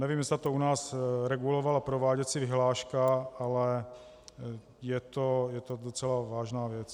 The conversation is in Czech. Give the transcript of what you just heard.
Nevím, zda to u nás regulovala prováděcí vyhláška, ale je to docela vážná věc.